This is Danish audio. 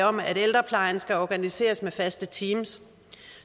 om at ældreplejen skal organiseres med faste teams